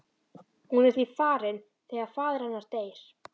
Hún er því farin þegar faðir hennar deyr.